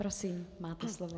Prosím, máte slovo.